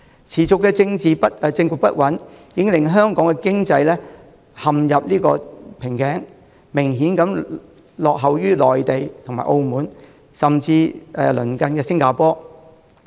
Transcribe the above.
持續的政局不穩，已令香港的經濟增長陷入瓶頸，明顯落後於內地及澳門，甚至鄰近的新加坡。